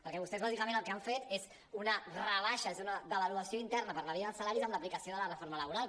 perquè vostès bàsicament el que han fet és una rebaixa és una devaluació interna per la via dels salaris amb l’aplicació de la reforma labo·ral